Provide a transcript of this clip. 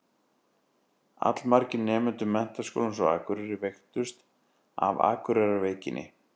Allmargir nemendur Menntaskólans á Akureyri veiktust af Akureyrarveikinni.